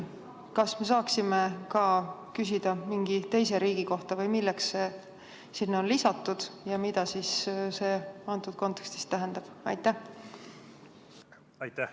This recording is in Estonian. Kas me saaksime küsida ka mingi teise riigi kohta või milleks see sinna on lisatud ja mida see antud kontekstis tähendab?